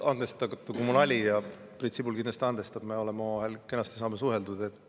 Andestage mu nali – Priit Sibul kindlasti andestab, me saame omavahel kenasti suheldud.